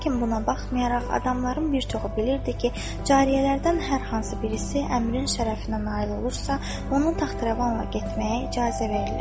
Lakin buna baxmayaraq adamların bir çoxu bilirdi ki, cariyələrdən hər hansı birisi əmrin şərəfinə nail olursa, ona taxt-rəvanla getməyə icazə verilir.